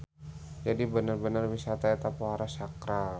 Jadi bener-bener wisata eta pohara sakral.